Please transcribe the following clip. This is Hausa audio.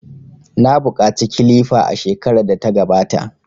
Na buƙaci kilifa a shekarar da ta gabata.